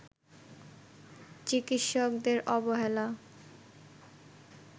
চিকিৎসকদের অবহেলা